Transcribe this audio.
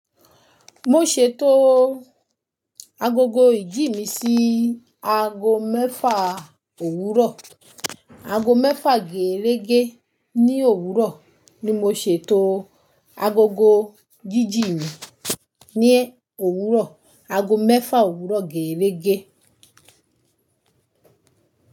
Mo ṣètò agogo ìjí mi sí ago mẹ́fà òwúrọ̀, ago mẹ́fà gẹ̀ẹ̀rẹ́gẹ́ ní òwúrọ̀ ni mo ṣètò agogo jíjí mi ní òwúrọ̀, ago mẹ́fà òwúrọ̀ gẹ̀ẹ̀rẹ́gẹ́